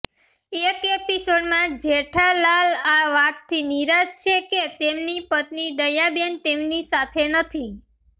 એક એપિસોડમાં જેઠાલા લ આ વાતથી નિરાશ છે કે તેમની પત્ની દયાબેન તેમની સાથે નથી